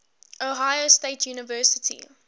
ohio state university